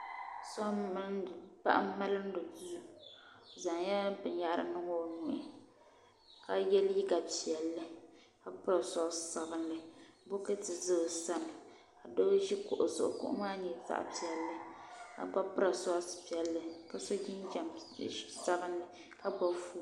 Paɣa n milini duu o zaŋla bini yahiri n niŋ o nuhi ka ye liiga piɛlli ka piri sɔksi sabinli bɔkati za o sani doo zo kuɣu zuɣu kuɣu maa nyɛla zaɣi piɛlli ka gba piri sɔks piɛlli ka so jinjam sabinli ka gbubi foon.